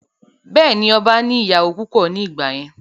Bẹ́ẹ̀ni, ọba ní ìyàwó púpọ̀ ní ìgbà yẹn